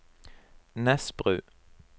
Nesbru